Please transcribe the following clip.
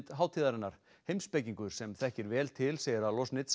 hátíðarinnar heimspekingur sem þekkir vel til segir að